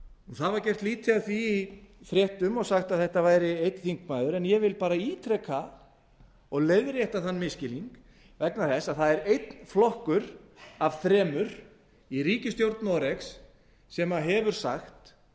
það var gert lítið úr því í fréttum og sagt að þetta væri einn þingmaður en ég vil bara ítreka og leiðrétta þann misskilning vegna þess að það er einn flokkur af þremur í ríkisstjórn noregs sem hefur sagt